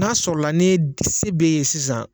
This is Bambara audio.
N'a sɔɔrɔɔ la ni y se b'e ye sisan